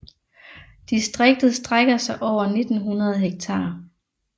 Distriktet strækker sig over 1900 hektar